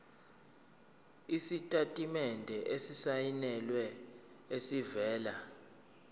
isitatimende esisayinelwe esivela